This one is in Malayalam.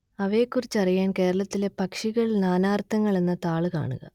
അവയെക്കുറിച്ചറിയാൻ കേരളത്തിലെ പക്ഷികൾ നാനാർത്ഥങ്ങൾ എന്ന താൾ കാണുക